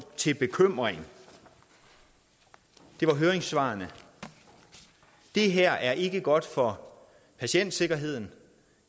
til bekymring det var høringssvarene det her er ikke godt for patientsikkerheden